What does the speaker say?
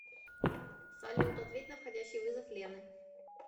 салют ответь на входящий вызов лены